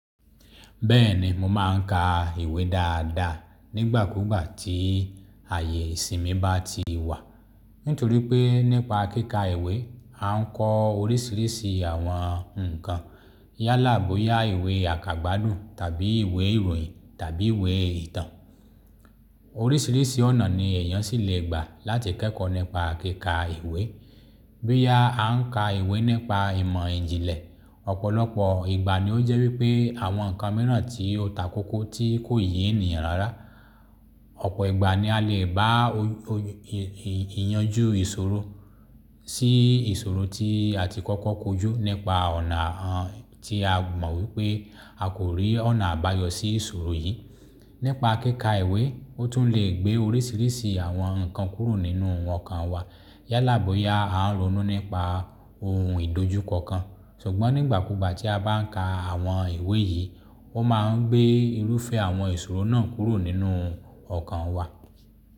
Bẹ́ẹ̀ni, mo máa ń ka ìwé dáadáa nígbàkúùgbà tí ààyè ìsinmi bá ti wà. Nítorí pé nípa kíka ìwé, a ń kọ oríṣiríṣi àwọn ǹkan yálà bo ya ìwé àkàgbádùn tàbí ìwé ìròyìn tàbí ìwé ìtàn. Oríṣiríṣi ọ̀nà ni èèyàn ṣì lè gbà láti kẹ́kọ̀ọ́ nípa kíka ìwé. Bí à á ń ka ìwé nípa ìmọ̀ ìjìnlẹ̀, ọ̀pọ̀lọpọ̀ ìgbà ni ó jẹ́ wípé àwọn ǹkan mìíràn tí ó takókó tí kò yí ènìyàn rárá. Ọ̀pọ̀ ìgbà ni a lè bá ìyanjú ìṣòro sí ìṣòro tí a ti kọ́kọ́ kojú nípa ọ̀nà tí a mọ̀ wípé a kò rí ọ̀nà àbáyọ sí ìṣòro yìí. Nípa kíka ìwé, ó tún lè gbé oríṣiríṣi àwọn ǹkan kúrò nínú ọkàn wa yálà bo ya a ń ronú nípa ohun ìdojúkọ kan. Ṣùgbọ́n nígbàkúùgbà tí a bá ń ka àwọn ìwé yìí, ó máa ń gbé irúfẹ́ àwọn ìṣòro náà kúrò nínú ọkàn wa.